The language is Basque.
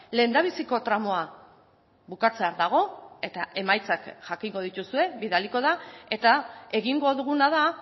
lehendabiziko tramoa bukatzear dago eta emaitzak jakingo dituzue bidaliko da eta egingo duguna da